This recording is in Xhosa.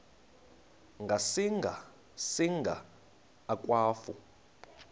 ngasinga singa akwafu